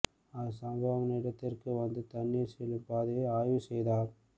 அவர் சம்பவ இடத்திற்கு வந்து தண்ணீர் செல்லும் பாதையை ஆய்வு செய்தார்